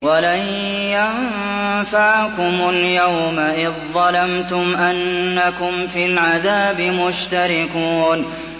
وَلَن يَنفَعَكُمُ الْيَوْمَ إِذ ظَّلَمْتُمْ أَنَّكُمْ فِي الْعَذَابِ مُشْتَرِكُونَ